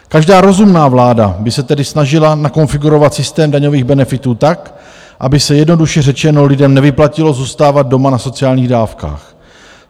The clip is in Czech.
Každá rozumná vláda by se tedy snažila nakonfigurovat systém daňových benefitů tak, aby se, jednoduše řečeno lidem nevyplatilo zůstávat doma na sociálních dávkách.